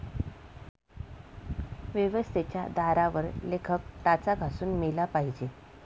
व्यवस्थेच्या दारावर लेखक टाचा घासून मेला पाहिजे.